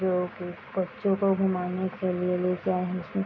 जो की बच्चों को घूमाने के लिए लेके आए हैं इसमें --